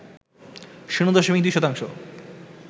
শূন্য দশমিক ২ শতাংশ